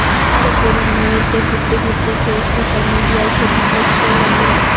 আরও পড়ুন নিউইয়র্কে ঘুরতে ঘুরতে ফের সোশ্যাল মিডিয়ায় ছবি পোস্ট করলেন বিরাট